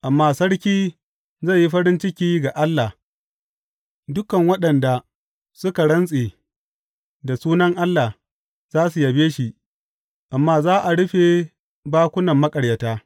Amma sarki zai yi farin ciki ga Allah; dukan waɗanda suke rantse da sunan Allah za su yabe shi, amma za a rufe bakunan maƙaryata.